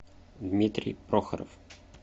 дмитрий прохоров